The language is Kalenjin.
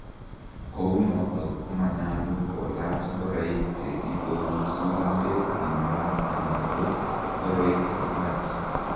kounotok komanyalu kolaach ngoroik che iporu surumbet nenywaa anan ko ngoroikchenwach